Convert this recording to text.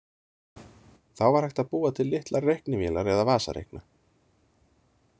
Þá var hægt að búa til litlar reiknivélar eða vasareikna.